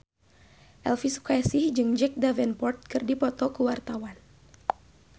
Elvy Sukaesih jeung Jack Davenport keur dipoto ku wartawan